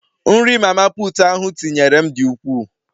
Nri mama putu ahụ tinyere nyere m di ukwuu